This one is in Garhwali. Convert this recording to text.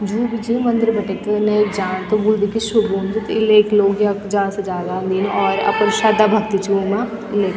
जू भी च मंदिर भठैक नह्येक जाण त वु भी कि शुभ हुन्द इलैक लोग यख जादा से जादा अन्दीन और अपड़ी श्रधा भक्ति च उमा इले--